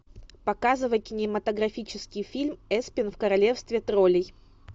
показывай кинематографический фильм эспен в королевстве троллей